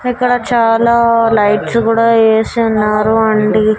ఇక్కడ చాలా లైట్స్ గూడ ఏసివున్నారు అండి.